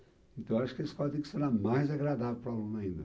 Então, eu acho que a escola tem que ser ainda mais agradável para o aluno ainda.